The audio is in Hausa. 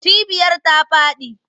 Cibiyar ta faɗi.